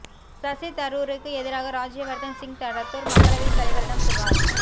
சசி தரூருக்கு எதிராக ராஜ்யவா்தன் சிங் ரத்தோா் மக்களவைத் தலைவரிடம் புகாா்